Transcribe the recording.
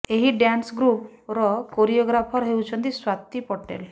ଏହି dance group ର choreographer ହେଉଛନ୍ତି ସ୍ୱାତୀ ପଟେଲ